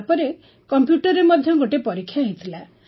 ତା ପରେ କମ୍ପ୍ୟୁଟରରେ ମଧ୍ୟ ଗୋଟିଏ ପରୀକ୍ଷା ହୋଇଥିଲା